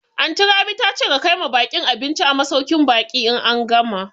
Anty Rabi ta ce ka kaima baƙin abinci a masauƙin baƙi in an gama